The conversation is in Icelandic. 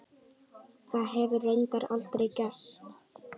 Það hefur reyndar aldrei gerst.